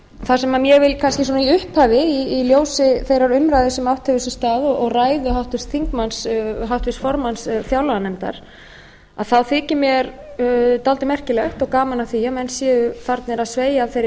það sem ég vil kannski svona í upphafi í ljósi þeirrar umræðu sem átt hefur sér stað og ræðu háttvirts þingmanns háttvirts formanns fjárlaganefndar þá þykir mér dálítið merkilegt og gaman að því að menn séu farnir að sveigja af þeirri